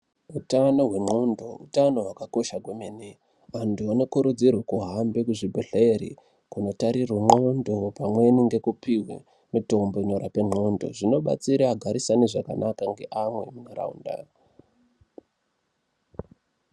Utano hwendxondo utano hwakakosha kwemene vantu vanokurudzirwa kuhambe kuzvibhedhleya kutarirwe ndxondo pamweni kupiwa mitombo inorapa ndxondo zvinoshanda zvinobatsira vantu vagarisane nevamwe zvakanaka mundaraunda.